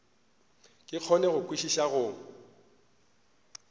ke kgone go kwešiša go